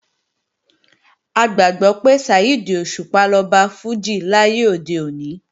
A gbàgbọ́ pé Saheed Òṣùpá lọba fújì láyé òde òní